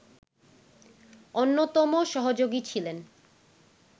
অন্যতম সহযোগী ছিলেন